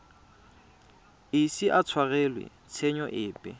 ise a tshwarelwe tshenyo epe